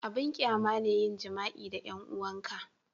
abin ƙyama ne yin jima'i da 'yan 'uwan ka